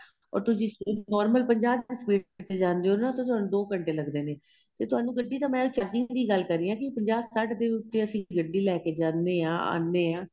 ਔਰ ਨੋਰਮਲ ਤੁਸੀਂ ਪੰਜਾਹ ਦੀ speed ਤੇ ਜਾਣੇ ਹੋ ਤੁਹਾਨੂੰ ਦੋ ਘੰਟੇ ਲੱਗਦੇ ਨੇ ਤੇ ਤੁਹਾਨੂੰ ਗੱਡੀ ਤਾਂ ਮੈਂ ਗੱਲ ਕਰ ਰਹੀ ਹਾਂ ਪੰਜਾਹ ਸੱਠ ਦੇ ਉਥੇ ਅਸੀਂ ਗੱਡੀ ਲੈਕੇ ਜਾਣੇ ਹਾਂ ਆਨੇ ਹਾਂ